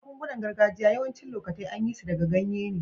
Magun-gunan gargajiya yawacin lokatai an yi su daga ganye ne.